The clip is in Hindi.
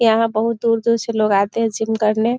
यहाँ बहुत दूर-दूर से आते हैं लोग जिम करने।